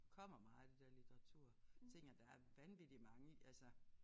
Kommer meget det der litteraturting og der er vanvittig mange altså